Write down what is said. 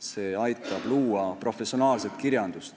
See aitab luua professionaalset kirjandust.